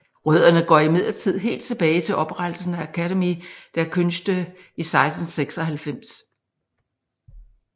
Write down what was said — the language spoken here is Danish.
Rødderne går imdidlertid helt tilbage til oprettelsen af Akademie der Künste i 1696